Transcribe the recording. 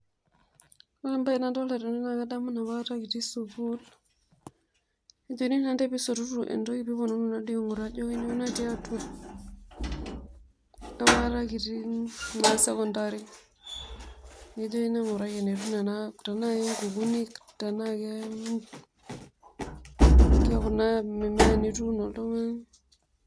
Ore entoki nadolita tenewueji na enapaka kitii sukul ejokini naa ntae peisotutu entoki peitumoki atishil enikunono tiatua enaapakata kituu sekendori nikijokini ngura enetiu nona, tanaa nkukuni, taanaa kakuna tokitin nituuono.